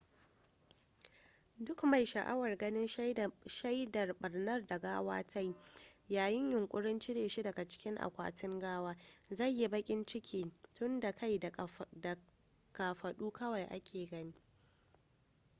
duk mai sha'awar ganin shaidar barnar da gawa ta yi yayin yunƙurin cire shi daga cikin akwatin gawa zai yi baƙin ciki tunda kai da kafaɗu kawai ake gani